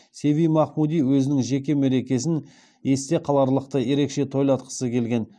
сиви махмуди өзінің жеке мерекесін есте қаларлықтай ерекше тойлатқысы келген